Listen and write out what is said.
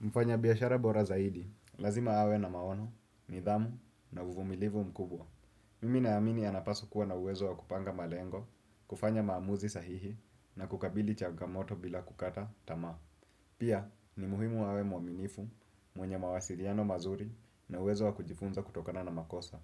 Mfanyabiashara bora zaidi, lazima awe na maono, nidhamu, na uvumilivu mkubwa. Mimi naamini anapaswa kuwa na uwezo wa kupanga malengo, kufanya maamuzi sahihi, na kukabili chagamoto bila kukata tamaa. Pia, ni muhimu awe mwaminifu, mwenye mawasiliano mazuri, na uwezo wa kujifunza kutokana na makosa.